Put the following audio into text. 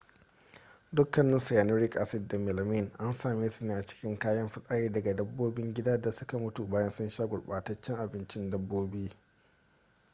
dukkanin cyanuric acid da melamine an same su ne a cikin kayan fitsari daga dabbobin gidan da suka mutu bayan sun sha gurbataccen abincin dabbobi